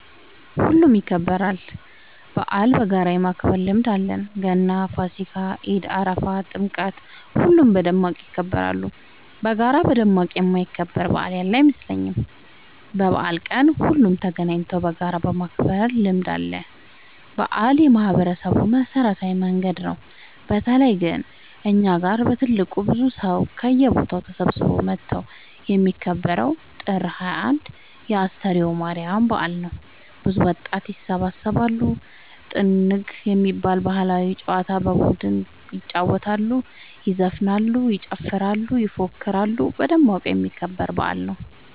ሁሉም ይከበራል። በአልን በጋራ የማክበር ልምድ አለን ገና ፋሲካ ኢድ አረፋ ጥምቀት ሁሉም በደማቅ ይከበራሉ። በጋራ በደማቅ የማይከበር በአል ያለ አይመስለኝም። በበአል ቀን ሁሉም ተገናኘተው በጋራ የማክበር ልምድ አለ። በአል የማህበረሰቡ መሰብሰቢያ መንገድ ነው። በተለይ ግን እኛ ጋ በትልቁ ብዙ ሰው ከየቦታው ተሰብስበው መተው የሚከበረው ጥር 21 የ አስተርዮ ማርያም በአል ነው። ብዙ ወጣት ይሰባሰባሉ። ጥንግ የሚባል ባህላዊ ጨዋታ በቡድን ይጫወታሉ ይዘፍናሉ ይጨፍራሉ ይፎክራሉ በደማቁ የሚከበር በአል ነው።